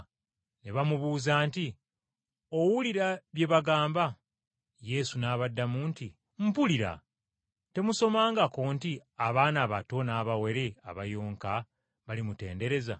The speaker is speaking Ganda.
Ne bamubuuza nti, “Owulira bano bye bagamba?” Yesu n’abaddamu nti, “Mpulira. Temusomangako nti, “ ‘Abaana abato n’abawere abayonka balimutendereza!’ ”